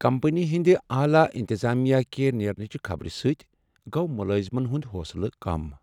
Company ہنٛدِ اعلی انتظامیہ كہِ نیرنہٕ چہ خبرِ سۭتۍ گوٚو ملٲزِمن ہنٛد حوصلہٕ کم۔